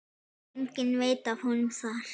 Enginn veit af honum þar.